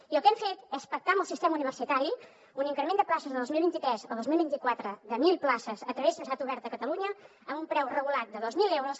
i el que hem fet és pactar amb el sistema universitari un increment de places del dos mil vint tres al dos mil vint quatre de mil places a través de la universitat oberta de catalunya amb un preu regulat de dos mil euros